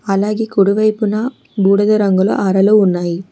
అలాగే కుడివైపున బూడిద రంగుల హారాలు ఉన్నాయి.